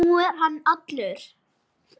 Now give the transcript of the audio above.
Nú er hann allur.